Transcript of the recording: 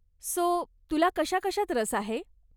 So, तुला कशाकशात रसआहे ?